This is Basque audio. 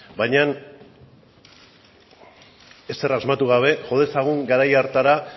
baina ezer asmatu gabe jo dezagun garai hartara